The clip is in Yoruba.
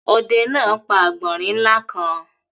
Ọdẹ náà pa àgbọ̀nrín ńlá kan.